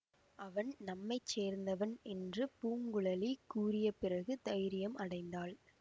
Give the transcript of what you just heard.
அவன் நம்மை சேர்ந்தவன் என்று பூங்குழலி கூறிய பிறகு தைரியம் அடைந்தாள்